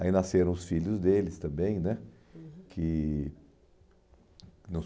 Aí nasceram os filhos deles também né, uhum, que...